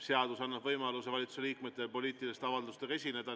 Seadus annab valitsuse liikmetele võimaluse poliitiliste avaldustega esineda.